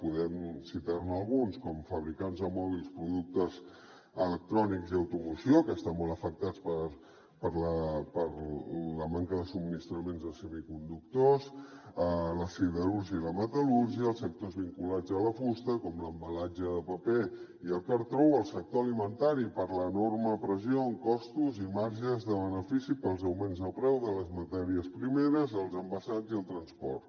podem citar ne alguns com fabricants de mòbils productes electrònics i automoció que estan molt afectats per la manca de subministraments de semiconductors la siderúrgia i la metal·lúrgia els sectors vinculats a la fusta com l’embalatge de paper i el cartró o el sector alimentari per l’enorme pressió en costos i marges de benefici pels augments de preu de les matèries primeres els envasats i el transport